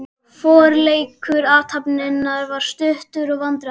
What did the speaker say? Forleikur athafnarinnar var stuttur og vandræðalegur.